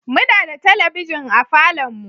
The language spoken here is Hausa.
Muna da talabijin a falon mu